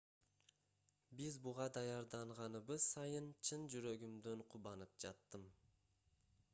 биз буга даярданганыбыз сайын чын жүрөгүмдөн кубанып жаттым